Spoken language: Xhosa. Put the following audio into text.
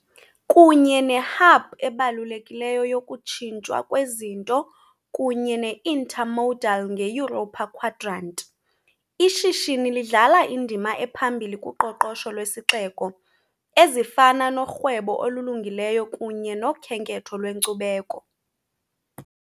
kunye ne-hub ebalulekileyo yokutshintshwa kwezinto kunye ne-intermodal nge- Europa Quadrant, ishishini lidlala indima ephambili kuqoqosho lwesixeko, ezifana norhwebo olulungileyo kunye nokhenketho lwenkcubeko.